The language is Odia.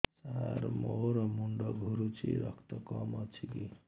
ସାର ମୋର ମୁଣ୍ଡ ଘୁରୁଛି ରକ୍ତ କମ ଅଛି କି